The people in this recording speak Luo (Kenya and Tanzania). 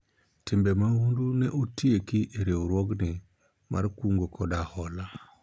timbe mahundu ne otieki e riwruogni mar kungo kod hola